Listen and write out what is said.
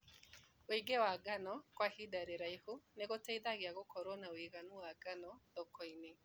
Wĩigĩ wa ngano kwa ihinda rĩraihu nĩgũteithagia gũkorwo na wĩiganu wa ngano thokoinĩ.